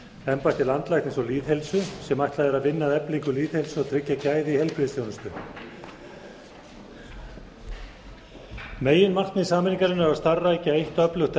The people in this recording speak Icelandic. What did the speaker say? embætti landlæknis og lýðheilsu sem ætlað er að vinna að eflingu lýðheilsu og tryggja gæði í heilbrigðisþjónustu meginmarkmið með sameiningarinnar er að starfrækja eitt öflugt